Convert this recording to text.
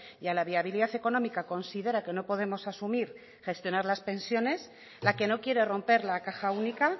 y a la viabilidad económica considera que no podemos asumir gestionar las pensiones la que no quiere romper la caja única